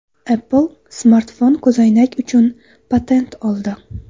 Apple smartfon-ko‘zoynak uchun patent oldi.